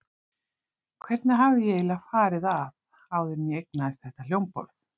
Hvernig hafði ég eiginlega farið að áður en ég eignaðist þetta hljómborð?